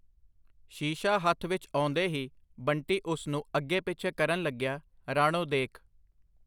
ਸ਼ੀਸ਼ਾ ਹੱਥ ਵਿੱਚ ਆਉਂਦੇ ਹੀ ਬੰਟੀ ਉਸਨੂੰ ਅੱਗੇ ਪਿੱਛੇ ਕਰਨ ਲੱਗਿਆ, ਰਾਣੋ ਦੇਖ!